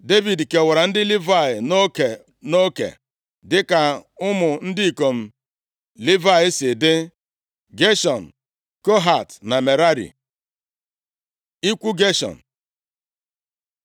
Devid kewara ndị Livayị nʼoke, nʼoke dịka ụmụ ndị ikom Livayị si dị: Geshọn, Kohat na Merari. Ikwu Geshọn